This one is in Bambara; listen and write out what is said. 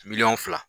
Miliyɔn fila